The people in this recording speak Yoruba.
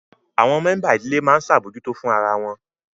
Àwọn mẹ́ńbà ìdílé máa ń ṣabojuto fún ara wọn